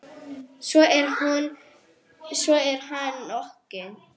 Svo er hann rokinn.